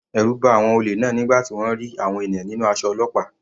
Ẹ̀rù ba àwọn olè náà nígbà tí wọ́n rí àwọn ènìyàn nínú aṣọ ọlọ́pàá.